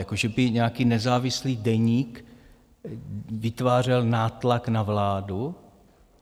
Jako že by nějaký nezávislý deník vytvářel nátlak na vládu?